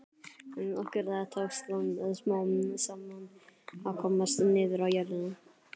En okkur tókst smám saman að komast niður á jörðina.